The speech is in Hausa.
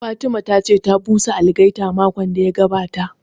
Fatima ta ce ta busa algaita makon da ya gabata